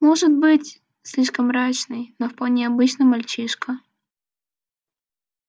может быть слишком мрачный но вполне обычный мальчишка